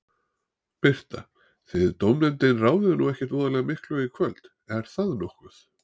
Birta: Þið dómnefndin ráðið nú ekkert voðalega miklu í kvöld, er það nokkuð?